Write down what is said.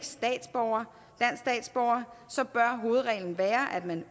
statsborger bør hovedreglen være at man